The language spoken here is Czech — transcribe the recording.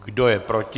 Kdo je proti?